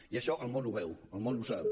i això el món ho veu el món ho sap